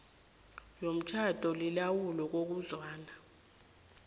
yomtjhado lilawulwa ngokuzwana